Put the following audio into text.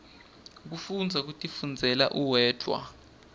kufundza kutifundzela uwedwana